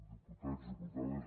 diputats diputades